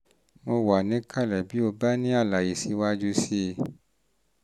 mo wà níkàlẹ̀ bí o bá ní àlàyé síwájú sí i